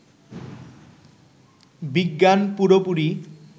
বিজ্ঞান পুরোপুরি